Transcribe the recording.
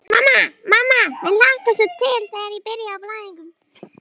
Mamma, mamma mér hlakkar svo til þegar.